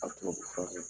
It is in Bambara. A bɛ tubabu fura kɛ